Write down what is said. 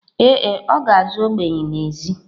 Ee e, ọ ga-azụ ogbenye n’èzí